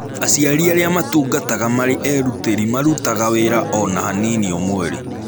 Aciari arĩa matungataga marĩ erutĩri marutaga wĩra o na hanini o mweri.